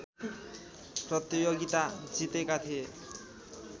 प्रतियोगिता जितेका थिए